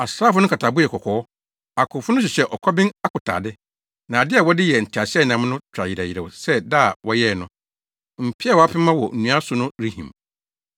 Asraafo no nkatabo yɛ kɔkɔɔ; akofo no hyehyɛ ɔkɔben akotade. Nnade a wɔde yɛɛ nteaseɛnam no twa yerɛw yerɛw sɛ da a wɔyɛɛ no; mpeaw a wɔapema wɔ nnua so no rehim.